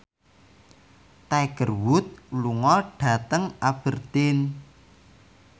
Tiger Wood lunga dhateng Aberdeen